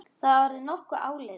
Það er orðið nokkuð áliðið.